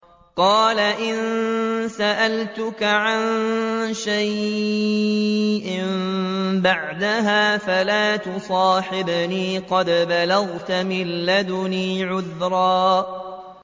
قَالَ إِن سَأَلْتُكَ عَن شَيْءٍ بَعْدَهَا فَلَا تُصَاحِبْنِي ۖ قَدْ بَلَغْتَ مِن لَّدُنِّي عُذْرًا